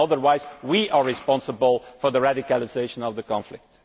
Otherwise, we are responsible for the radicalisation of the conflict.